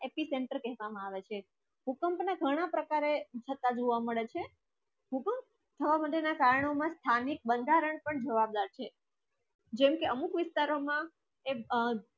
Epicenter કહેવામાં આવે છે ભૂકંપ ના ઘણા પ્રકારે છતાં જુવા મળે છે સુધી છ hundred ની કારણો ની સ્થાનિક બંધારણ પણ જવાબદાર છે જે આવે અત્યરે માં એક